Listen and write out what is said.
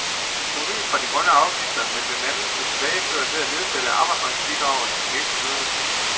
Provenuet fra de grønne afgifter vil blandt andet blive tilbageført ved at nedsætte arbejdsmarkedsbidraget for virksomhederne.